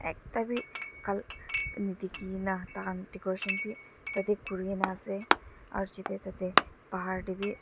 ekta bhi ka nedekhi kina decoration bhi tate kori kina ase aru chite tate pahar te bhi --